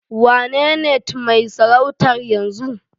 Waenenetmai sarautar yanzu?